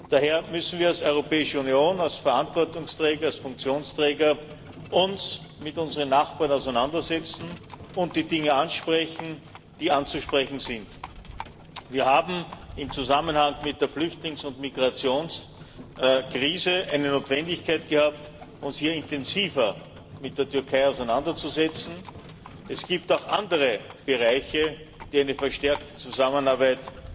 Daher müssen wir uns als Europäische Union, als Verantwortungsträger, als Funktionsträger mit unseren Nachbarn auseinandersetzen und die Dinge ansprechen, die anzusprechen sind. Wir haben im Zusammenhang mit der Flüchtlings und Migrationskrise eine Notwendigkeit gehabt, uns intensiver mit der Türkei auseinanderzusetzen. Es gibt auch andere Bereiche, die eine verstärkte Zusammenarbeit